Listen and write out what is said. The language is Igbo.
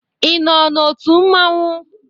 Ị nọ n'otu mmanwụ?